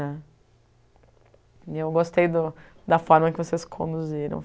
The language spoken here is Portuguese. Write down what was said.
né. E eu gostei do da forma que vocês conduziram.